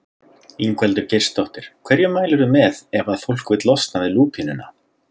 Ingveldur Geirsdóttir: Hverju mælirðu með ef að fólk vill losna við lúpínuna?